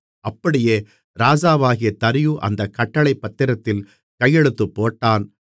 அப்படியே ராஜாவாகிய தரியு அந்தக் கட்டளைப் பத்திரத்தில் கையெழுத்து போட்டான்